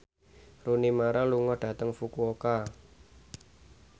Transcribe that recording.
Rooney Mara lunga dhateng Fukuoka